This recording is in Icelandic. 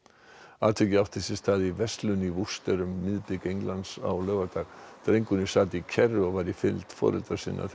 atvikið átti sér stað í verslun í Worcester um miðbik Englands á laugardag drengurinn sat í kerru og var í fylgd foreldra sinna þegar